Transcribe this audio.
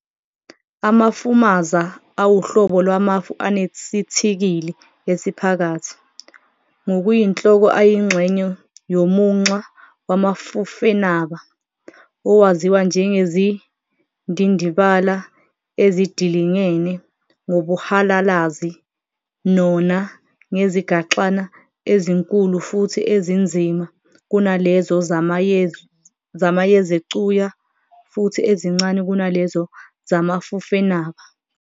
Amafumaza awuhlobo lwamafu anesithikili esiphakathi, ngokuyinhloko ayingxenye yomunxa wamafufenaba, owaziwa ngezindndibala ezidilingene ngobuhalalazi Nona ngezigaxana -- ezinkulu futhi ezinzima kunalezo zamayezecuya futhi ezincane kunalezo zamafufenaba.